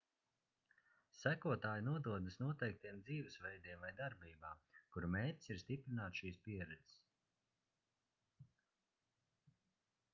sekotāji nododas noteiktiem dzīvesveidiem vai darbībām kuru mērķis ir stiprināt šīs pieredzes